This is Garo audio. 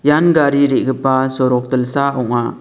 ian gari re·gipa sorok dilsa ong·a.